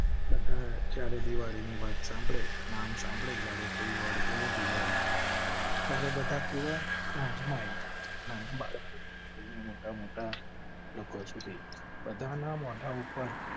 બધા ચારે દિવાળી ની વાત સાંભળે. નામ સાંભળી જ્યારે કોઈ વાર બોલે દિવાળી ત્યારે બધા કેવા? મોજ માં આયી જાય ના બાળકો થી મોટા મોટા લોકો સુધી. બધા ના મોઢા ઉપર